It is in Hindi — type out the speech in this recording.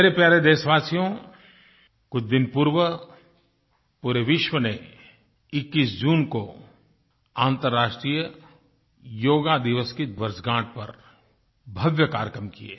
मेरे प्यारे देशवासियो कुछ दिन पूर्व पूरे विश्व ने 21 जून को अन्तर्राष्ट्रीय योग दिवस की वर्षगाँठ पर भव्य कार्यक्रम किये